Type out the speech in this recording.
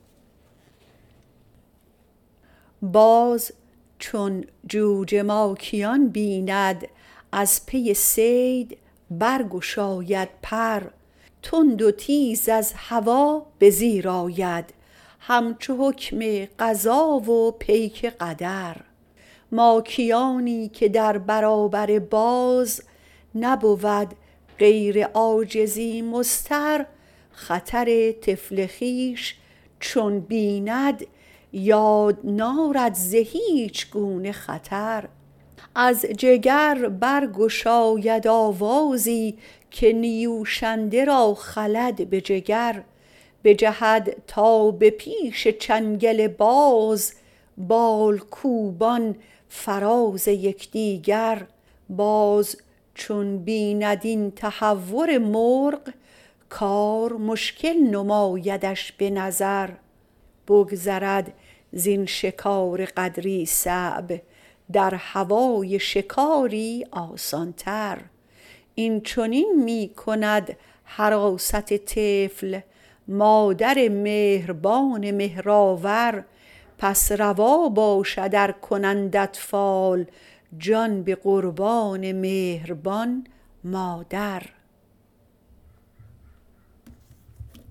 باز چون جوجه ماکیان بیند از پی صید برگشاید پر تند و تیز از هوا به زیر آید همچو حکم قضا و پیک قدر ماکیانی که در برابر باز نبود غیر عاجزی مضطر خطر طفل خویش چون بیند یاد نارد ز هیچ گونه خطر از جگر بر گشاید آوازی که نیوشنده را خلد به جگر بجهد تا به پیش چنگل باز بال کوبان فراز یکدیگر باز چون بیند ای تهور مرغ کار مشکل نمایدش به نظر بگذرد زین شکار قدری صعب در هوای شکاری آسان تر این چنین می کند حراست طفل مادر مهربان مهرآور پس روا باشد ار کنند اطفال جان به قربان مهربان مادر